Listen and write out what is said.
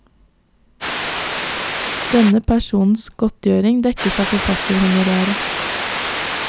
Denne persons godtgjøring dekkes av forfatterhonoraret.